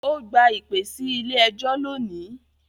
Ó gba ìpè sí ilé ẹjọ́ lónìí.